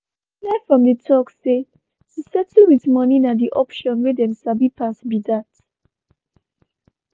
e clear from di tok say to settle with moni na di option wey dem sabi pass be that.